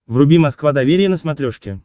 вруби москва доверие на смотрешке